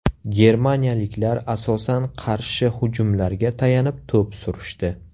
Germaniyaliklar asosan qarshi hujumlarga tayanib to‘p surishdi.